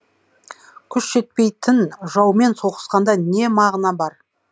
күш жетпейтін жаумен соғысқанда не мағына бар